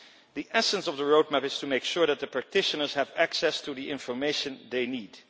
The essence of the roadmap is to make sure that the practitioners have access to the information they need.